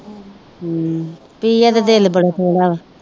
ਹਮ ਪ੍ਰਿਆ ਦਾ ਦਿਲ ਬੜਾ ਥੋੜ੍ਹਾ ਵਾ